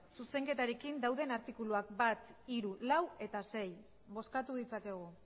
zuzenketarekin dauden artikuluak bat hiru lau eta sei bozkatu ditzakegu